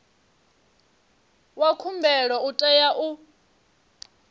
wa khumbelo u tea u